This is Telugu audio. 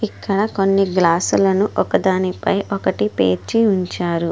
ఇక్కడ కొన్ని గ్లాసులను ఒకదానిపై ఒకటి పేర్చి ఉంచారు.